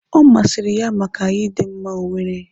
Ọ masịrị ya maka ịdị mma ọ nwere.